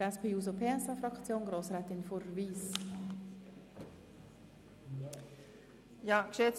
Für die SP-JUSO-PSA-Fraktion hat Grossrätin Fuhrer Wyss das Wort.